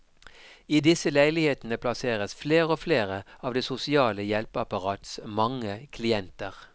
I disse leilighetene plasseres flere og flere av det sosiale hjelpeapparats mange klienter.